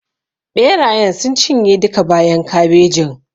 Ɓerayen sun cinye duka bayan kabejin.